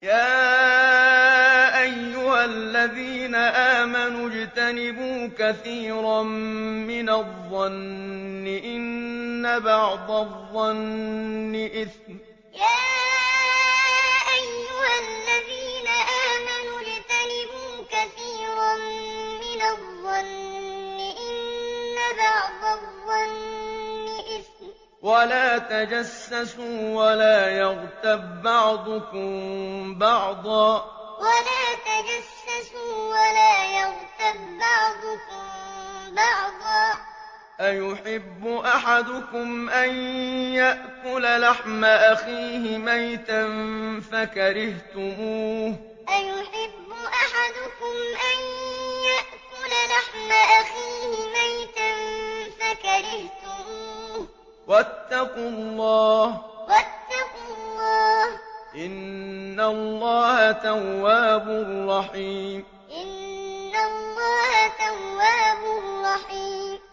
يَا أَيُّهَا الَّذِينَ آمَنُوا اجْتَنِبُوا كَثِيرًا مِّنَ الظَّنِّ إِنَّ بَعْضَ الظَّنِّ إِثْمٌ ۖ وَلَا تَجَسَّسُوا وَلَا يَغْتَب بَّعْضُكُم بَعْضًا ۚ أَيُحِبُّ أَحَدُكُمْ أَن يَأْكُلَ لَحْمَ أَخِيهِ مَيْتًا فَكَرِهْتُمُوهُ ۚ وَاتَّقُوا اللَّهَ ۚ إِنَّ اللَّهَ تَوَّابٌ رَّحِيمٌ يَا أَيُّهَا الَّذِينَ آمَنُوا اجْتَنِبُوا كَثِيرًا مِّنَ الظَّنِّ إِنَّ بَعْضَ الظَّنِّ إِثْمٌ ۖ وَلَا تَجَسَّسُوا وَلَا يَغْتَب بَّعْضُكُم بَعْضًا ۚ أَيُحِبُّ أَحَدُكُمْ أَن يَأْكُلَ لَحْمَ أَخِيهِ مَيْتًا فَكَرِهْتُمُوهُ ۚ وَاتَّقُوا اللَّهَ ۚ إِنَّ اللَّهَ تَوَّابٌ رَّحِيمٌ